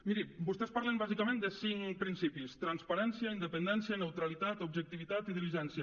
mirin vostès parlen bàsicament de cinc principis transparència independència neutralitat objectivitat i diligència